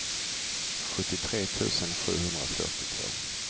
sjuttiotre tusen sjuhundrafyrtiotvå